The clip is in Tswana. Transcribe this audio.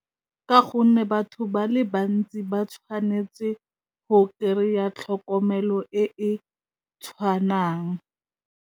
Ka gonne batho ba le bantsi ba tshwanetse go kry-a tlhokomelo e e tshwanang.